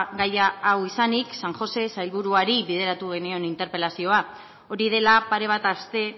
gaia hau izanik san josé sailburuari bideratu genion interpelazioa hori dela pare bat aste